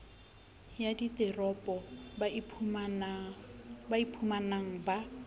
ya diteropo ba iphumang ba